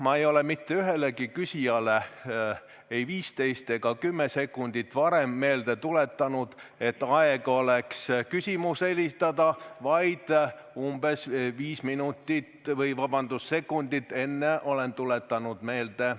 Ma ei ole mitte ühelegi küsijale ei 15 ega 10 sekundit varem meelde tuletanud, et aeg oleks küsimus esitada, vaid umbes viis sekundit enne olen tuletanud meelde.